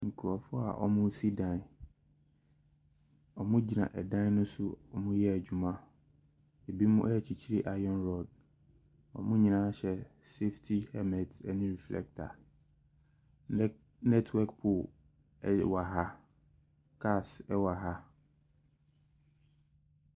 Nkurɔfoɔ a wɔresi dan. Wɔgyina dan no so a wɔreyɛ adwuma. Ɛbinom rekyekyere iron rod. Wɔn nyinaa hyɛ safety helmet ne reflector. Net network pole wɔ ha. Cars wɔ ha.